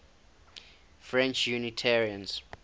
french unitarians